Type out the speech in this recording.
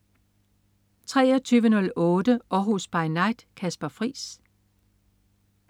23.08 Århus By Night. Kasper Friis